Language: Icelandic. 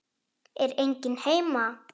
Er enginn heima?